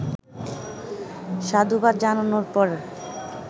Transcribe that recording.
সাধুবাদ জানানোর পর